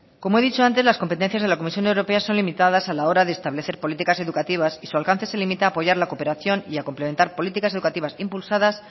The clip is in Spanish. como he dicho antes las competencias de la comisión europea son limitadas a la hora de establecer políticas educativas y su alcance se limita a apoyar la cooperación y a complementar políticas educativas impulsadas